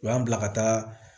U y'an bila ka taa